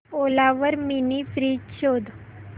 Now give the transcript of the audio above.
ओला वर mini fridge शोध